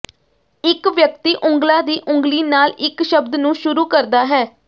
ਇੱਕ ਵਿਅਕਤੀ ਉਂਗਲਾਂ ਦੀ ਉਂਗਲੀ ਨਾਲ ਇੱਕ ਸ਼ਬਦ ਨੂੰ ਸ਼ੁਰੂ ਕਰਦਾ ਹੈ